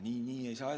Nii edasi ei saa.